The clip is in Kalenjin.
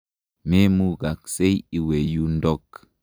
Me mugaksei iwe yundok.